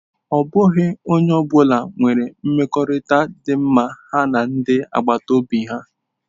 Ọ bụghị onye ọ bụla nwere mmekọrịta dị mma ha na ndi agbata obi ha.